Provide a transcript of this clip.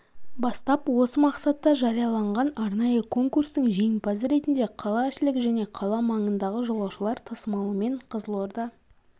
бастап осы мақсатта жарияланған арнайы конкурстың жеңімпазы ретінде қалаішілік және қала маңындағы жолаушылар тасымалымен қызылорда